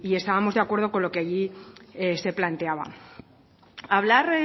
estábamos de acuerdo con lo que allí se planteaba hablar